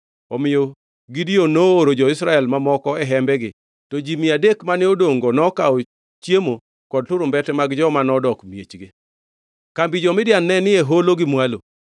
Omiyo Gideon nooro jo-Israel mamoko e hembegi, to ji mia adek mane odongʼ-go nokawo chiemo kod turumbete mag joma nodok e miechgi. Kambi jo-Midian ne ni e holo gi mwalo.